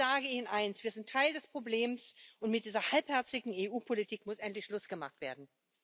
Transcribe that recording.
Ich sage Ihnen eins Wir sind Teil des Problems, und mit dieser halbherzigen EU Politik muss endlich Schluss gemacht werden.